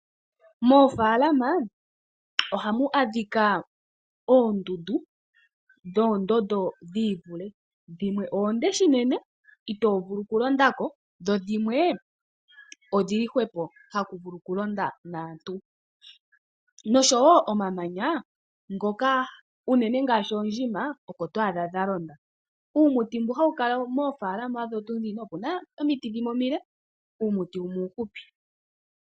Moofaalama oha mu adhika oondundu dhoondondo dhi i vule. Dhimwe oonde shinene itoo bulu oku londa ko. Dho dhimwe idhi li hwepo haku vulu oku londa naantu.